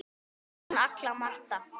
Þín Agla Marta.